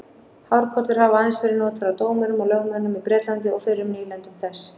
Hárkollur hafa aðeins verið notaðar af dómurum og lögmönnum í Bretlandi og fyrrum nýlendum þess.